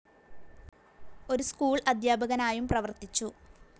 ഒരു സ്കൂൾ അധ്യാപകനായും പ്രവർത്തിച്ചു.